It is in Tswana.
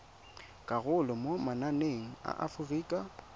karolo mo mananeng a aforika